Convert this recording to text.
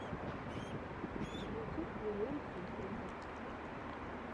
ютюб миллион сюрпризов